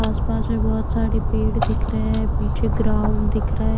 आस पास में बहुत सारे पेड़ दिख रहे हैं पीछे ग्राउंड दिख रहा ।